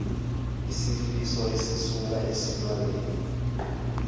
siyisifo esisuka esilwaneni